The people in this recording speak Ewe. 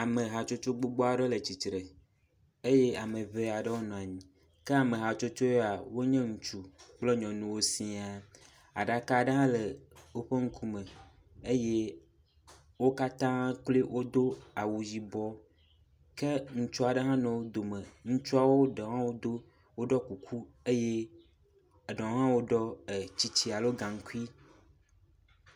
Ame hatsotso gbogbo aɖewo le tsitre eye ame ŋee aɖewo nɔ anyi ke ame hatsotso ya wo nye nyɔnu kple ŋutsuwo sia. Aɖaka aɖe hã le woƒe ŋkume eye wo katã kloe wodo awu yibɔ ke ŋutsu aɖe hã le wo dome. Ŋutsuawo ɖewo hã wodo woɖɔ kuku eye eɖewo hã woɖɔ tsitsi aɖo gaŋkui.